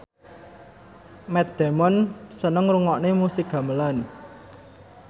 Matt Damon seneng ngrungokne musik gamelan